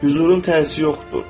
Hüzurun tərsi yoxdur.